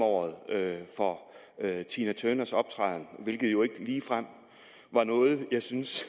året for tina turners optræden hvilket jo ikke ligefrem var noget jeg synes